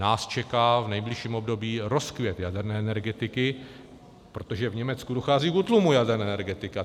Nás čeká v nejbližším období rozkvět jaderné energetiky, protože v Německu dochází k útlumu jaderné energetiky.